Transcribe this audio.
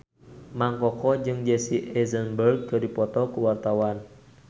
Mang Koko jeung Jesse Eisenberg keur dipoto ku wartawan